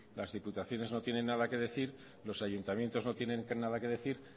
las diputaciones no tienen nada que decir los ayuntamientos no tienen nada que decir